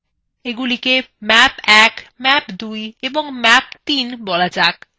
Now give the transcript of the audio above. এগুলিকে map ১ map ২ এবং map ৩ বলা যাক